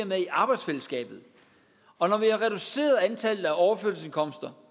med i arbejdsfællesskabet og når vi har reduceret antallet af overførselsindkomster